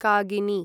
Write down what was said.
कागिनि